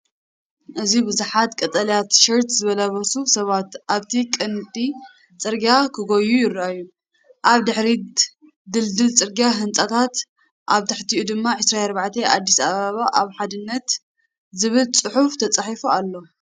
እዚ ብዙሓት ቀጠልያ ቲሸርት ዝለበሱ ሰባት ኣብቲ ቀንዲ ጽርግያ ክጎዩ ይረኣዩ። ኣብ ድሕሪት ድልድል ጽርግያን ህንጻታትን፡ ኣብ ትሕቲኡ ድማ "24 ኣዲስ ኣበባ ኣብ ሓድነት" ዝብል ጽሑፍ ተጻሒፉ ኣሎ።